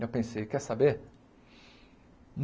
Eu pensei, quer saber?